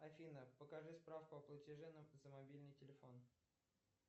афина покажи спраку о платеже за мобильный телефон